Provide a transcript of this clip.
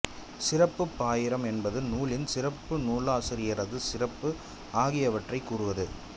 சிறப்புப் பாயிரம் என்பது நூலின் சிறப்பு நூலாசிரியரது சிறப்பு ஆகியவற்றைக் கூறுவது